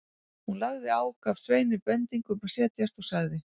Hún lagði á, gaf Sveini bendingu um að setjast og sagði